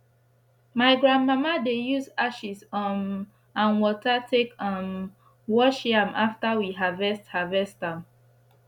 my grandmama dey use ashes um and wata take um wash yam after we harvest harvest am